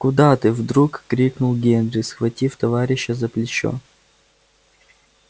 куда ты вдруг крикнул генри схватив товарища за плечо